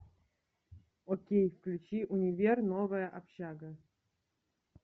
окей включи универ новая общага